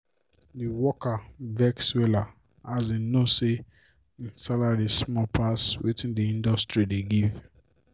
d worker vex wella as e know say im salary small pass wetin d industry dey give.